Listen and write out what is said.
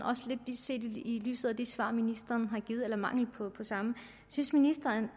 set lidt i lyset af det svar ministeren har givet eller mangel på samme synes ministeren